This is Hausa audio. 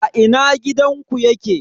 A ina gidanku yake?